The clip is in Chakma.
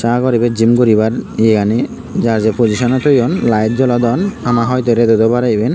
sagor ibey gym guribar iyegani jajei pojisoney toyon light jolodon hamahoitey redot oi parey iben.